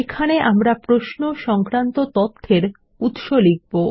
এখানে আমরা প্রশ্ন সংক্রান্ত তথ্যের উৎস লিখব